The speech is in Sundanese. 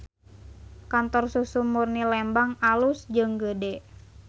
Kantor Susu Murni Lembang alus jeung gede